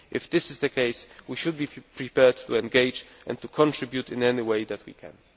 If this is the case, we should be prepared to engage and to contribute in any way that we can.